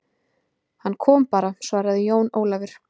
Hann kom bara, svaraði Jón Ólafur.